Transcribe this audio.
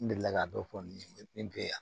N delila ka dɔ fɔ nin ye ne be yan